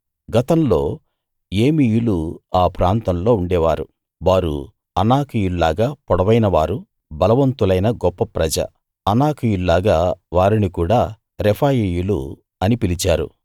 గతంలో ఏమీయులు ఆ ప్రాంతాల్లో ఉండేవారు వారు అనాకీయుల్లాగా పొడవైనవారు బలవంతులైన గొప్ప ప్రజ అనాకీయుల్లాగా వారిని కూడా రెఫాయీయులు అని పిలిచారు